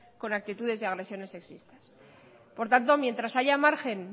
con actitudes y agresiones sexistas por tanto mientras haya margen